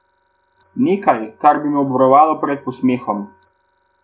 Nekaj, kar bi me obvarovalo pred posmehom.